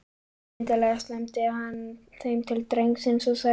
Skyndilega slæmdi hann þeim til drengsins og sagði